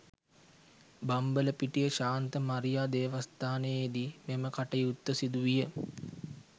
බම්බලපිටිය ශාන්ත මරියා දේවස්ථානයේදී මෙම කටයුත්ත සිදු විය